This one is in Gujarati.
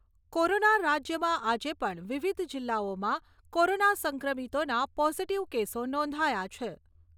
કોરોના રાજ્યમાં આજે પણ વિવિધ જિલ્લાઓમાં કોરોના સંક્રમિતોના પોઝીટીવ કેસો નોંધાયા છે.